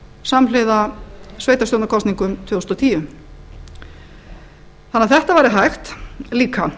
samhliða sveitarstjórnarkosningum tvö þúsund og tíu þannig að þetta væri hægt líka